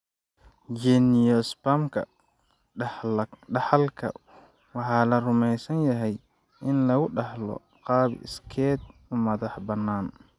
Geniospasm-ka dhaxalka waxaa la rumeysan yahay in lagu dhaxlo qaab iskeed u madax bannaan.